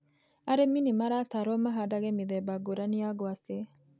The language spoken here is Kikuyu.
Arĩmi nĩ maratarwo mahandage mĩthemba ngũrani ya ngwacĩ.